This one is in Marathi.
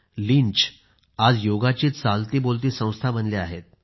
लिंच आज योगाची चालतीबोलती संस्था बनल्या आहेत